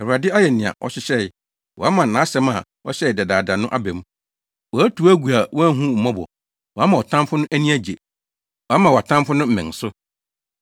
Awurade ayɛ nea ɔhyehyɛe; wama nʼasɛm a ɔhyɛɛ dedaada no aba mu. Watu wo agu a wanhu wo mmɔbɔ, wama ɔtamfo no ani agye wama wʼatamfo no mmɛn so.